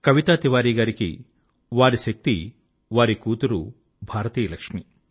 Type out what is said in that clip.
కవితా తివారీ గారికి వారి శక్తి వారి కూతురు భారతీయ లక్ష్మి